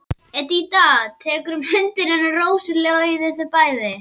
Edita tekur um hönd hennar og Rósa leiðir þau bæði.